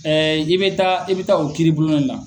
n' i bɛ taa i bɛ taa o kiiri blon ne na.